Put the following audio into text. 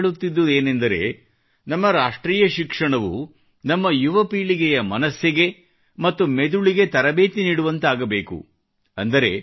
ಅರವಿಂದರು ಹೇಳುತ್ತಿದ್ದುದೇನಂದರೆ ನಮ್ಮ ರಾಷ್ಟ್ರೀಯ ಶಿಕ್ಷಣವು ನಮ್ಮ ಯುವ ಪೀಳಿಗೆಯ ಮನಸ್ಸಿಗೆ ಮತ್ತು ಮೆದುಳಿಗೆ ತರಬೇತಿ ನೀಡುವಂತಾಗಬೇಕು